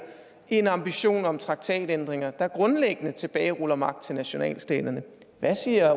en ambition om traktatændringer der grundlæggende tilbageruller magt til nationalstaterne hvad siger